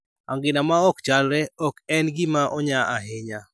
angina ma ok chalre ok en gima onya ahinya